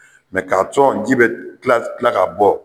Mɛ k'a cɔ ji be kila kila ka bɔ